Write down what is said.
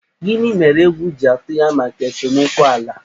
Gini mere egwu ji atụ ya maka esomokwu ala?